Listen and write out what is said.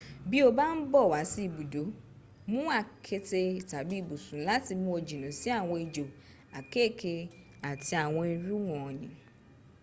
bí o bá ń bọ̀ wá sí ibùdó mú àketè tàbí ibùsùn láti mú ọ jìnà sí àwọn ejò àkekèé àti àwọn irú wọn ni